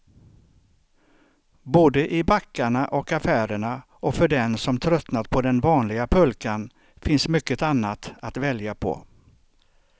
Både i backarna och affärerna, och för den som tröttnat på den vanliga pulkan finns mycket annat att välja på.